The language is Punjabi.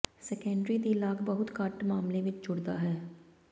ਸੈਕੰਡਰੀ ਦੀ ਲਾਗ ਬਹੁਤ ਘੱਟ ਮਾਮਲੇ ਵਿਚ ਜੁੜਦਾ ਹੈ